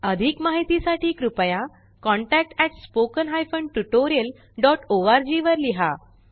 अधिक माहिती साठी कृपया contactspoken tutorialorg वर लिहा